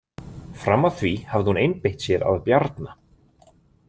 Fram að því hafði hún einbeitt sér að Bjarna.